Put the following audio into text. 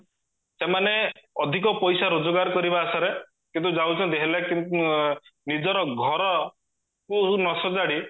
ସେମାନେ ଅଧିକ ପଇସା ରୋଜଗାର କରିବା ଆଶାରେ କିନ୍ତୁ ଯାଉଛନ୍ତି ହେଲେ ନିଜର ଘରକୁ ନାସଜାଡି